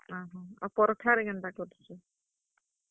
ଓହୋ, ଆଉ ପରଠା ରେ କେନ୍ତା କରୁଛୁ?